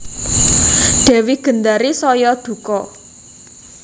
Dewi Gendari saya duka